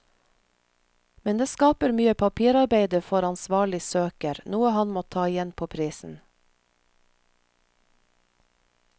Men det skaper mye papirarbeide for ansvarlig søker, noe han må ta igjen på prisen.